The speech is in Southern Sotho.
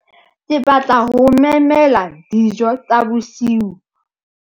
Ke batla ho o memela dijo tsa bosiu.